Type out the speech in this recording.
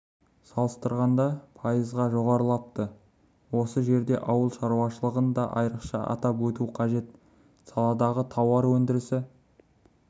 салыстырғанда пайызға жоғарылапты осы жерде ауыл шаруашылығын да айрықша айтып өту қажет саладағы тауар өндірісі